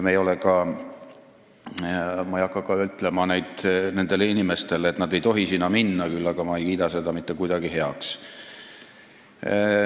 Ma ei hakka küll ütlema inimestele, et nad ei tohi sinna minna, kuid ma ei kiida seda ka mitte kuidagi heaks.